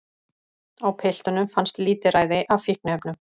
Á piltunum fannst lítilræði af fíkniefnum